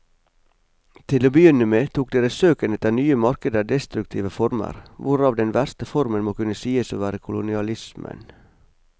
Til å begynne med tok deres søken etter nye markeder destruktive former, hvorav den verste formen må kunne sies å være kolonialismen.